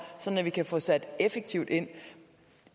sådan at vi kan få sat effektivt ind